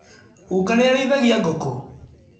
Guka nĩ arĩithagia ngũkũ?